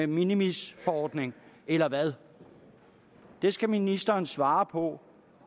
minimisforordning eller hvad det skal ministeren svare på